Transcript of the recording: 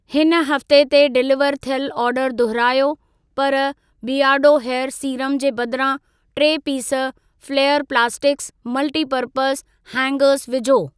हिन हफ़्ते ते डिलीवर थियल ऑर्डर दुहिरायो, पर बीयरडो हेयर सीरम जे बदिरां टे piece flair plastic multipurpose hanger विझो।